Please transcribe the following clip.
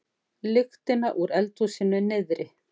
lyktina úr eldhúsinu niðri.